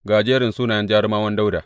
Ga jerin sunayen jarumawan Dawuda.